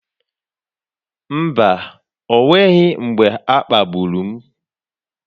Mba, o nweghị mgbe a kpagburu m.